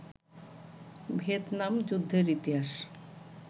Vietnam যুদ্ধের ইতিহাস